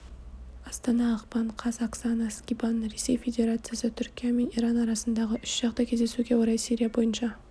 астана ақпан қаз оксана скибан ресей федерациясы түркия мен иран арасындағы үшжақты кездесуге орай сирия бойынша